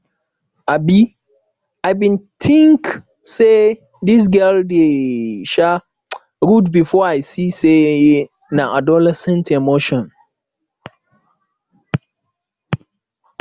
um i bin tink sey dis girl dey um rude before i see sey na adolescent emotion